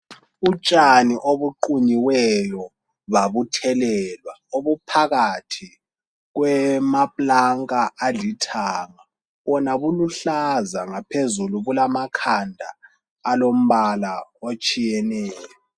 utshani obuqunyiweyo bauthelelwa obuphakathi kwamaplanka alithanga bona buluhlaza phezulu bulamakhanda alombala etshiyeneyo